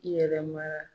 Yɛlɛma